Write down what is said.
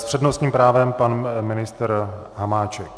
S přednostním právem pan ministr Hamáček.